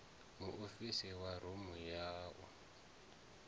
muofisi wa rumu ya u